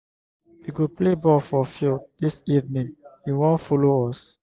we go play ball for field dis evening you wan folo us.